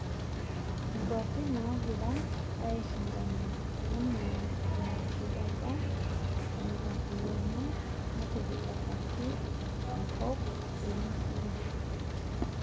Inkwapi naagira aishindana enaa enatiu apa enkariyiano natipikaki tenkop emisiri